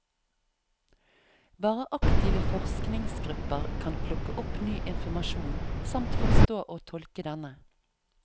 Bare aktive forskningsgrupper kan plukke opp ny informasjon samt forstå og tolke denne.